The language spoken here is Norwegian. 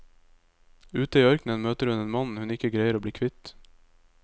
Ute i ørkenen møter hun en mann hun ikke greier å bli kvitt.